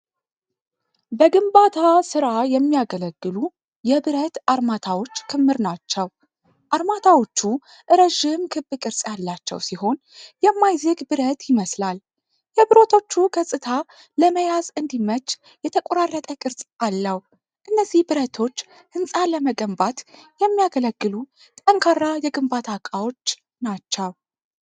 በግንባታ ሥራ የሚያገለግሉ የብረት አርማታዎች ክምር ናችው ። አርማታዎቹ ረዥም ክብ ቅርጽ ያላቸው ሲሆን የማይዝግ ብረት ይመስላል። የብረቶቹ ገጽታ ለመያዝ እንዲያመች የተቆራረጠ ቅርጽ አለው። እነዚህ ብረቶች ህንፃ ለመገንባት የሚያገለግሉ ጠንካራ የግንባታ እቃዎች ናቸው።